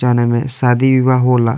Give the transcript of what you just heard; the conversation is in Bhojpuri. जोना मे शादी विवाह होला।